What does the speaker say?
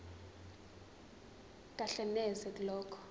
kahle neze kulokho